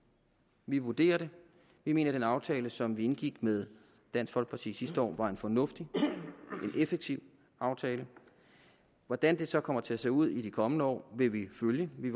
vi vurderer det vi mener at den aftale som vi indgik med dansk folkeparti sidste år var en fornuftig en effektiv aftale hvordan det så kommer til at se ud i de kommende år vil vi følge vi